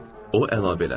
o əlavə elədi.